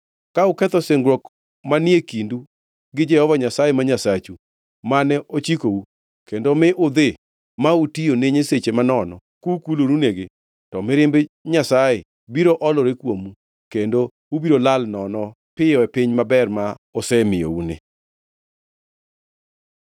Ka uketho singruok mane kindu gi Jehova Nyasaye ma Nyasachu, mane ochikou, kendo mi udhi ma utiyo ne nyiseche manono kukulorunegi, to mirimb Nyasaye biro olore kuomu, kendo ubiro lal nono piyo e piny maber ma osemiyouni.”